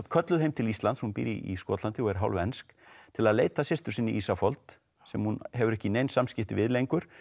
kölluð heim til Íslands hún býr í Skotlandi og er hálfensk til að leita að systur sinni Ísafold sem hún hefur ekki nein samskipti við lengur